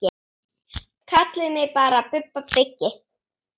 Kallið mig bara Bubba byggi.